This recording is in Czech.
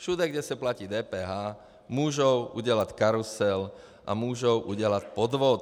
Všude, kde se platí DPH, můžou udělat karusel a můžou udělat podvod.